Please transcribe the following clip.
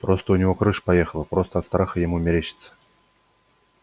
просто у него крыша поехала просто от страха ему мерещится